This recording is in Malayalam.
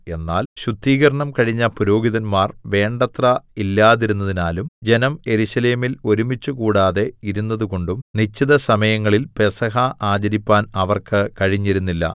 എന്നാൽ ശുദ്ധീകരണം കഴിഞ്ഞ പുരോഹിതന്മാർ വേണ്ടത്ര ഇല്ലാതിരുന്നതിനാലും ജനം യെരൂശലേമിൽ ഒരുമിച്ചുകൂടാതെ ഇരുന്നതുകൊണ്ടും നിശ്ചിത സമയങ്ങളിൽ പെസഹ ആചരിപ്പാൻ അവർക്ക് കഴിഞ്ഞിരുന്നില്ല